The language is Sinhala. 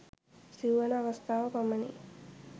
සිව්වන අවස්ථාව පමණි.